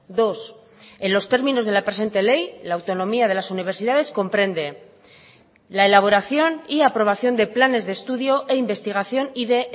dos en los términos de la presente ley la autonomía de las universidades comprende la elaboración y aprobación de planes de estudio e investigación y de